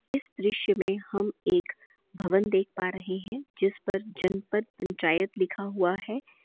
इस दृश्य में हम एक भवन देख पा रहे है जिस पर जनपद पंचायत लिखा हुआ है।